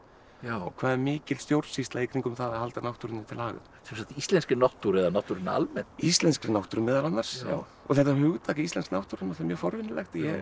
hvað er mikil stjórnsýsla í kringum það að halda náttúrunni til haga sem sagt íslenskri náttúru eða náttúrunni almennt íslenskri náttúru meðal annars og þetta hugtak íslensk náttúra er mjög forvitnilegt